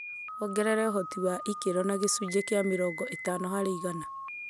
wongerera ũhoti wa ikero na gĩcunjĩ kĩa mĩrongo ĩtano harĩ igana